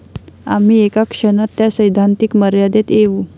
आम्ही एका क्षणात त्या सैद्धांतिक मर्यादेत येऊ.